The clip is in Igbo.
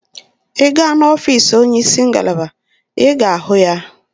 Ị gaa n'ọfiisi onye isi ngalaba, ị ga-ahụ ya.